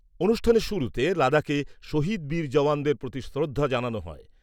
অনুষ্ঠানের শুরুতে লাদাখে শহীদ বীর জওয়ানদের প্রতি শ্রদ্ধা জানানো হয়।